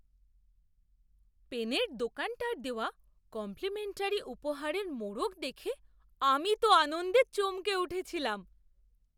পেনের দোকানটার দেওয়া কম্প্লিমেন্টারি উপহারের মোড়ক দেখে আমি তো আনন্দে চমকে উঠেছিলাম!